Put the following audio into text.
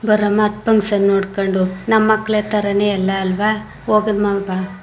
ಬರೋಮಾ function ನೋಡಕೊಂಡು ನಮ್ಮ ಮಕ್ಕಳ ತರನೇ ಎಲ್ಲಾ ಅಲ್ಲವಾ ಹೋಗಮಾ ಬಾ.